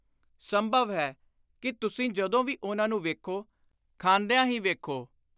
ਸੰਭਵ ਹੈ ਕਿ ਤੁਸੀਂ ਜਦੋਂ ਵੀ ਉਨ੍ਹਾਂ ਨੂੰ ਵੇਖੋ, ਖਾਂਦਿਆਂ ਹੀ-ਵੇਖੋ।